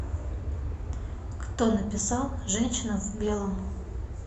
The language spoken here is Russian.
кто написал женщина в белом